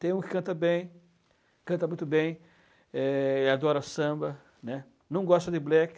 Tem um que canta bem, canta muito bem, é, adora samba, né, não gosta de black.